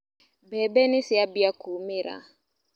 Mbembe niciambia kumĩra.